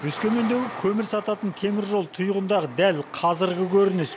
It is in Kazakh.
өскемендегі көмір сататын теміржол тұйығындағы дәл қазіргі көрініс